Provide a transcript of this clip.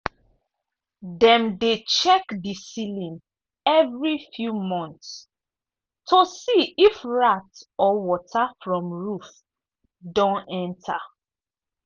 dem dey check the ceiling every few months to see if rat or water from roof don enter.